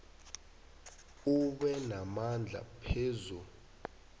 abe namandla phezu